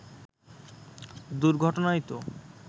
দুর্ঘটনায় তো